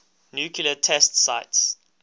nuclear test sites